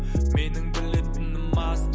менің білетінім аз